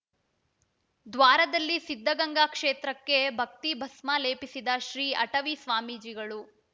ದ್ವಾರದಲ್ಲಿ ಸಿದ್ಧಗಂಗಾ ಕ್ಷೇತ್ರಕ್ಕೆ ಭಕ್ತಿಯ ಭಸ್ಮ ಲೇಪಿಸಿದ ಶ್ರೀ ಅಟವಿ ಸ್ವಾಮೀಜಿಗಳು